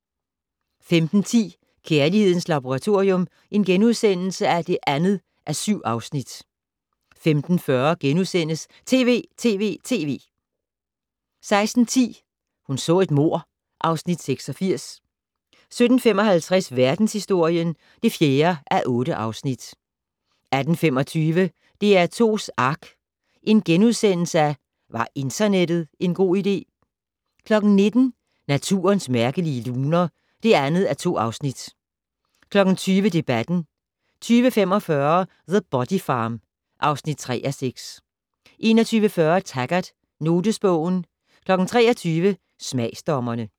15:10: Kærlighedens Laboratorium (2:7)* 15:40: TV!TV!TV! * 16:10: Hun så et mord (Afs. 86) 17:55: Verdenshistorien (4:8) 18:45: DR2's ARK - Var internettet en god idé? * 19:00: Naturens mærkelige luner (2:2) 20:00: Debatten 20:45: The Body Farm (3:6) 21:40: Taggart: Notesbogen 23:00: Smagsdommerne